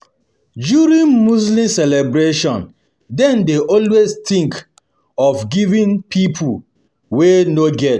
During Muslim celebration dem dey always think of giving to pipo wey no get